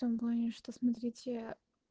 в том плане что смотрите